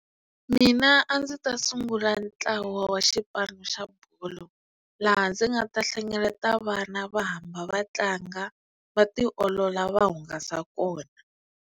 Mina a ndzi ta sungula ntlawa wa xipano xa bolo laha ndzi nga ta hlengeleta vana va hamba va tlanga va tiolola va hungasa kona.